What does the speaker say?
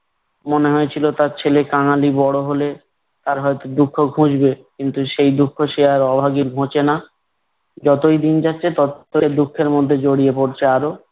মনে হয়েছিল তার ছেলে কাঙালি বড় হলে তার হয়তো দুঃখ ঘুচবে কিন্তু সেই দুঃখ সে আর অভাগীর ঘুচে না। যতই দিন যাচ্ছে ততই দুঃখের মধ্যে জড়িয়ে পড়ছে আরো।